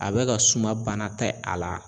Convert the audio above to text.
A be ka suma bana te a la.